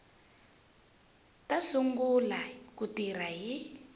ta sungula ku tirha hi